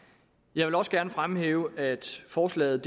jeg vil også gerne fremhæve at forslaget